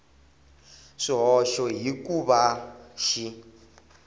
swihoxo hi ku va xi